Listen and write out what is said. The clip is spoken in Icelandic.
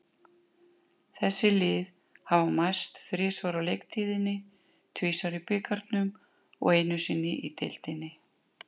Þessi lið hafa mæst þrisvar á leiktíðinni, tvisvar í bikarnum og einu sinni í deildinni.